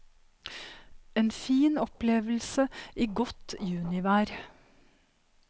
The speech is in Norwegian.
En fin opplevelse i godt junivær.